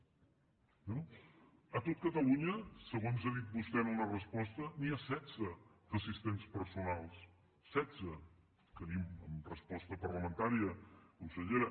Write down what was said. a tot catalunya segons ha dit vostè en una resposta n’hi ha setze d’assistents personals setze ho tenim en resposta parlamentària consellera